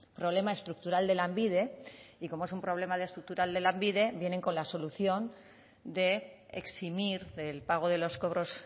problema estructural de lanbide y como es un problema estructural de lanbide vienen con la solución de eximir del pago de los cobros